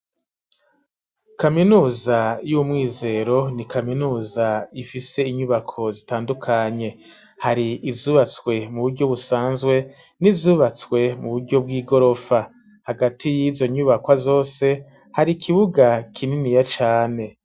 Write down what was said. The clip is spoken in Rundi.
Kaminuza y'umwizero ni kaminuza ifise inyubako zitandukanye hari izubatswe mu buryo busanzwe n'izubatswe mu buryo bw'igorofa hagati yizo nyubakwa zose hari ikibuga kininiya cane.